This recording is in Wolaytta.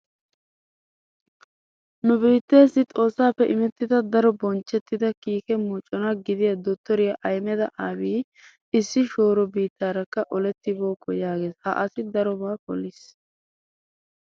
Nu biitteessi Xoossaappe imettida daro bonchchettida kiike mocona gidiya dottoriya Ahimeda Abiyyi issi shooro biittaarakka olettibookko yaages. Ha asi darobaa poliis.